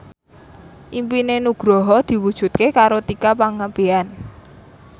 impine Nugroho diwujudke karo Tika Pangabean